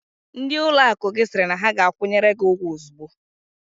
Ndị ụlọakụ gị sịrị na ha ga-akwụnyere gị ụgwọ ozugbo?